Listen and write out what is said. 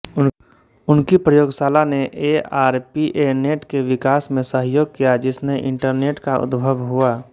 उनकी प्रयोगशाला ने एआरपीएनेट के विकास में सहयोग किया़ जिसने इंटरनेट का उद्भव हुआ